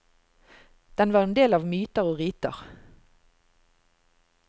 Den var en del av myter og riter.